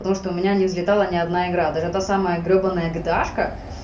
потому что у меня не взлетала ни одна игра даже та самое гребаное гташка